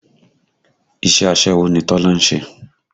Iṣẹ́ aṣẹ́wó ni Tọ́lá ń ṣe